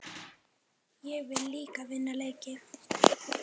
Ég vil líka vinna leiki.